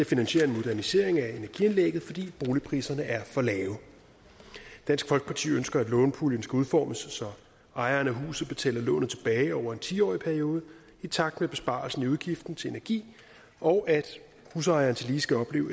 finansiere en modernisering af energianlægget fordi boligpriserne er for lave dansk folkeparti ønsker at lånepuljen skal udformes så ejeren af huset betaler lånet tilbage over en tiårig periode i takt med besparelsen i udgiften til energi og at husejeren tillige skal opleve